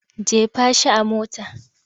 Jefa shi a mota!